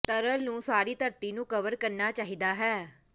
ਤਰਲ ਨੂੰ ਸਾਰੀ ਧਰਤੀ ਨੂੰ ਕਵਰ ਕਰਨਾ ਚਾਹੀਦਾ ਹੈ